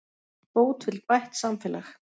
Bót vill bætt samfélag